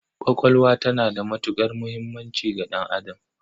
Ƙwaƙwalwa tana da matuƙar muhimmanci ga ɗan'adam.